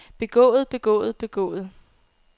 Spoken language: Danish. begået begået begået